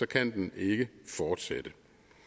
kan den ikke fortsætte